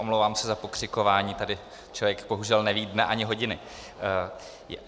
Omlouvám se za pokřikování, tady člověk bohužel neví dne ani hodiny.